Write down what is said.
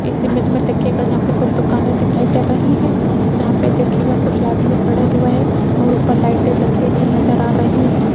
इस इमेज में तकिए का यहां पे कोई दुकानें दिखाई दे रही है जहां पे देखिएगा कुछ आदमी खड़े हुए है और ऊपर लाइटे भी जलती नजर आ रही है।